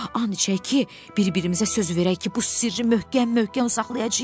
An içək ki, bir-birimizə söz verək ki, bu sirri möhkəm-möhkəm saxlayacağıq.